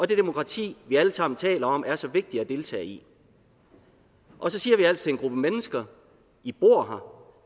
det demokrati vi alle sammen taler om er så vigtigt at deltage i og så siger vi altså til en gruppe mennesker i bor